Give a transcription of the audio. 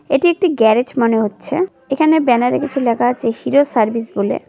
এটি একটি গ্যারেজ মনে হচ্ছে এখানে ব্যানারে কিছু লেখা আছে হিরো সার্ভিস বলে।